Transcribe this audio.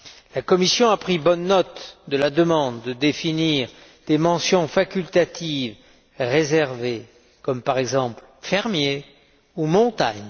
La Commission a pris bonne note de la demande de définir des mentions facultatives réservées, comme par exemple fermier ou montagne.